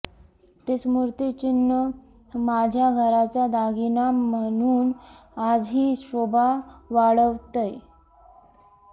ते स्मृतीचिन्ह माझ्या घराचा दागिना म्हणून आजही शोभा वाढवतंय